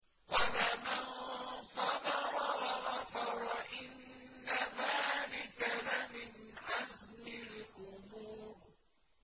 وَلَمَن صَبَرَ وَغَفَرَ إِنَّ ذَٰلِكَ لَمِنْ عَزْمِ الْأُمُورِ